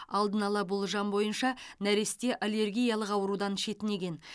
алдын ала болжам бойынша нәресте аллергиялық аурудан шетінеген